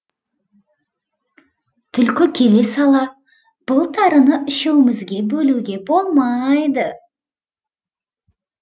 түлкі келе сала бұл тарыны үшеуімізге бөлуге болмайды